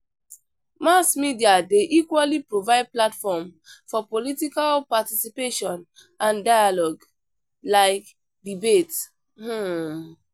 Mass media dey equally provide platform for political participation and dailogue; like debates. um